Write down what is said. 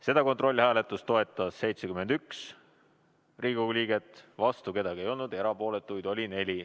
Seda kontrollhääletust toetas 71 Riigikogu liiget, vastu keegi ei olnud, erapooletuid oli 4.